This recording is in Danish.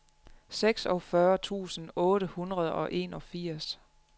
seksogfyrre tusind otte hundrede og enogfirs